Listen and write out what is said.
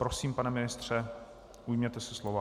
Prosím, pane ministře, ujměte se slova.